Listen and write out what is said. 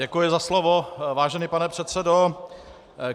Děkuji za slovo, vážený pane předsedo.